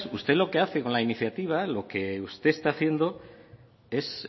usted lo que hace con la iniciativa lo que usted está haciendo es